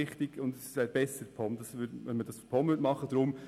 Es wäre besser, wenn das die POM machen würde.